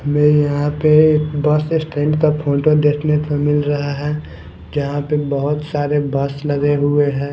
मैं यहाँ पे बस स्टैंड का फोटो देखने को मिल रहा है जहाँ पे बहुत सारे बस लगे हुए हैं।